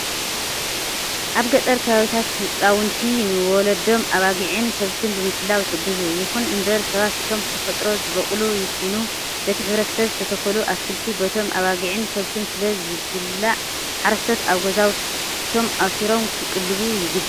ኣብ ገጠር ከባቢታት ህፃውንቲ ንወለዶም ኣባጊዕን ከብትን ብምሕላው ይሕግዙ። ይኹን እምበር ሰባት እቶም ብተፈጥሮ ዝበቆሉ ይኩኑ በቲ ሕብረተሰብ ዝተተከሉ ኣትክልቲ በቶም ኣባጊዕን ከብትን ስለ ዝብል ሓረስቶስ ኣብ ገዛውቶም ኣሲሮም ክቅልቡ ይግባእ።